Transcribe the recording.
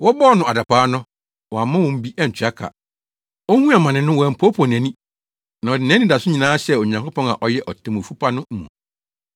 Wɔbɔɔ no adapaa no, wammɔ wɔn bi antua ka. Ohuu amane no, wampoopoo nʼani na ɔde nʼanidaso nyinaa hyɛɛ Onyankopɔn a ɔyɛ Otemmufo pa no mu.